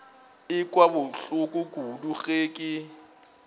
ekwa bohloko kudu ge ke